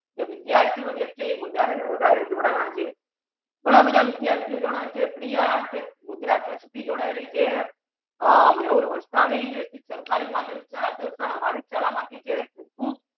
વિદ્યાર્થિયો જે છે ઇ વધારને વધારે જોડાના છે પણ આ બાધા વિદ્યાર્થિયો જનાઓ છે પ્રિયા તે ગુજરાત કચ્છ થી જોડાયલી છે મેહુલ વર્ષા સરકારી માધ્યમ શાળા ઉપરુક્ત મહાવીર શાળા મા થી છે.